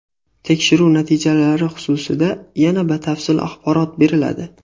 Tekshiruv natijalari xususida yana batafsil axborot beriladi.